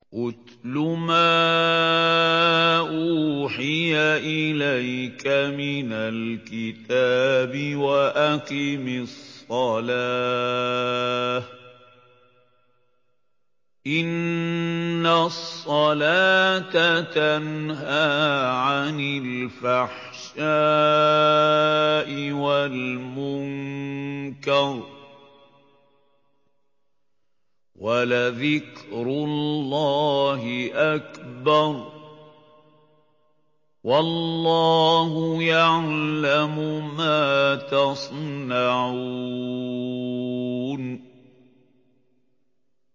اتْلُ مَا أُوحِيَ إِلَيْكَ مِنَ الْكِتَابِ وَأَقِمِ الصَّلَاةَ ۖ إِنَّ الصَّلَاةَ تَنْهَىٰ عَنِ الْفَحْشَاءِ وَالْمُنكَرِ ۗ وَلَذِكْرُ اللَّهِ أَكْبَرُ ۗ وَاللَّهُ يَعْلَمُ مَا تَصْنَعُونَ